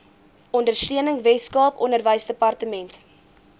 ondersteuning weskaap onderwysdepartement